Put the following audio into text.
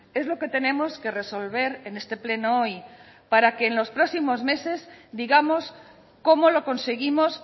es lo que tenemos que resolver en este pleno hoy para que en los próximos meses digamos como lo conseguimos